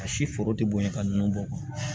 A si foro tɛ bonya ka nun bɔ